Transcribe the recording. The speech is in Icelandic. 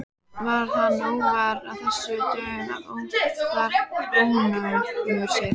Varð hann óvær af þessu dögum oftar og ónógur sér.